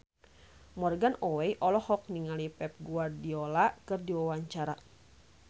Morgan Oey olohok ningali Pep Guardiola keur diwawancara